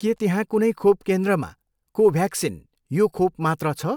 के त्यहाँ कुनै खोप केन्द्रमा कोभ्याक्सिन यो खोप मात्र छ?